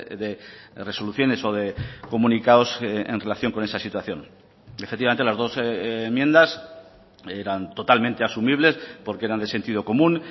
de resoluciones o de comunicados en relación con esa situación efectivamente las dos enmiendas eran totalmente asumibles porque eran de sentido común